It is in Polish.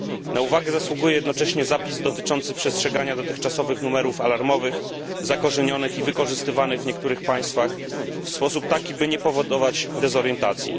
Na uwagę zasługuje jednocześnie zapis dotyczący przestrzegania dotychczasowych numerów alarmowych zakorzenionych i wykorzystywanych w niektórych państwach w sposób taki, by nie powodować dezorientacji.